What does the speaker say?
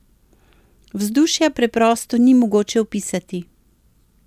Vzdušja preprosto ni mogoče opisati.